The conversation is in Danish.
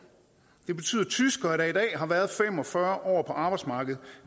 det betyder at tyskere der i dag har været fem og fyrre år på arbejdsmarkedet